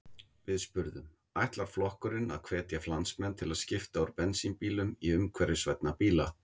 Við spurðum: Ætlar flokkurinn að hvetja landsmenn til að skipta úr bensínbílum í umhverfisvænni bíla?